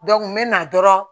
n bɛ na dɔrɔn